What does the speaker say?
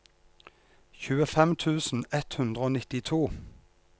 tjuefem tusen ett hundre og nittito